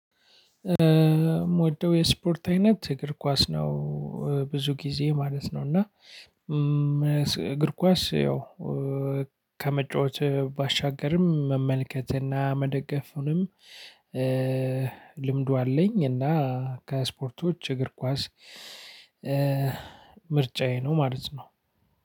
የምወደው የስፖርት አይነት እግር ኳስ ነው ብዙ ጊዜ ማለት ነው። እና እግር ኳስ ያው ከመጫወት ባሻገርም መመልከትና መደገፍንም ልምዱ አለኝ። እና ከስፖርቶች እግር ኳስ ምርጫዬ ነው ማለት ነው።